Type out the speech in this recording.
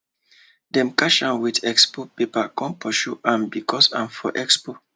them catch am with expo paper come pursue am because am for expo